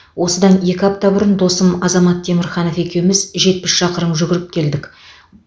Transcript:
осыдан екі апта бұрын досым азамат темірханов екеуміз жетпіс шақырым жүгіріп келдік